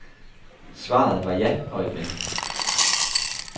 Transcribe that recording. Svaret var ja og et men.